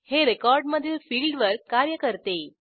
हे रेकॉर्डमधील फिल्डवर कार्य करते